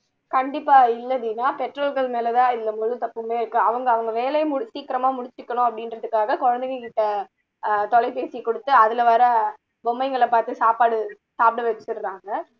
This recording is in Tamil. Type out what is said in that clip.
கண்டிப்பா இல்ல தீனா பெற்றோர்கள் மேல தான் இந்த முழு தப்புமே இருக்கு அவங்க அவங்க வேலையை முடி சீக்கிரமா முடிச்சுக்கணும் அப்படிங்குறதுக்காக குழந்தைகள்கிட்ட ஆஹ் தொலைபேசி கொடுத்து அதுல வர்ற பொம்மைகளை பாத்து சாப்பாடு சாப்பிட வச்சுடுறாங்க